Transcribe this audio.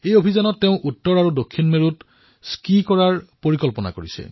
এই অভিযানত তেওঁ উত্তৰ আৰু দক্ষিণ মেৰুত স্কীও কৰিব